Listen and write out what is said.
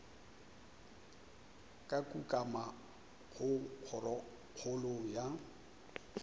ka kukamo go kgorokgolo ya